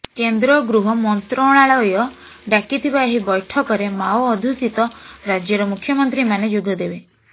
କେନ୍ଦ୍ର ଗୃହ ମନ୍ତ୍ରଣାଳୟ ଡାକିଥିବା ଏହି ବୈଠକରେ ମାଓ ଅଧ୍ୟୁଷିତ ରାଜ୍ୟର ମୁଖ୍ୟମନ୍ତ୍ରୀମାନେ ଯୋଗଦେବେ